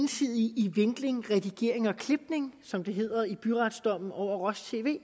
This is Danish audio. vinkling redigering og klipning som det hedder i byretsdommen over